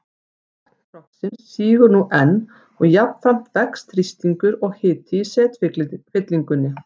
Botn trogsins sígur nú enn og jafnframt vex þrýstingur og hiti í setfyllingunni.